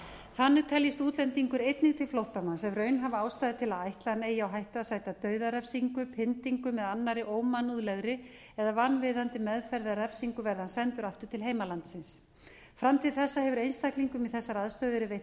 þannig teljist útlendingur einnig til flóttamanns ef raunhæf ástæða er til að ætla að hann eigi á hættu að sæta dauðarefsingu pyndingum eða annarri ómannúðlegri eða vanvirðandi meðferð eða refsingu verði hann sendur aftur til heimalandsins fram til þessa hefur einstaklingum í þessari aðstöðu verið veitt